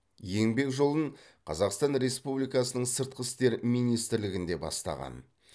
еңбек жолын қазақстан республикасының сыртқы істер министрілігінде бастаған